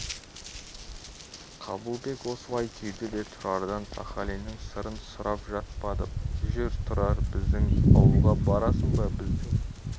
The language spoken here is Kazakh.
қабылбек осылай түйді де тұрардан сахалиннің сырын сұрап жатпады жүр тұрар біздің ауылға барасың ба біздің